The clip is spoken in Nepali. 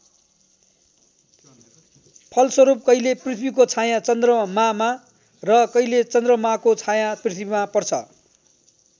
फलस्वरूप कहिले पृथ्वीको छायाँ चन्द्रमामा र कहिले चन्द्रमाको छायाँ पृथ्वीमा पर्छ।